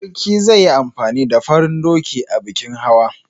Sarki zai yi amfani da farin doki a bikin hawa.